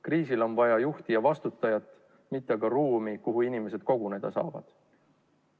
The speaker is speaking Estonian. Kriisil on vaja juhti ja vastutajat, mitte aga ruumi, kuhu inimesed koguneda saavad.